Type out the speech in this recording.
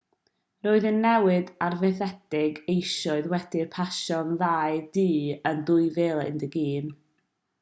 roedd y newid arfaethedig eisoes wedi pasio'r ddau dŷ yn 2011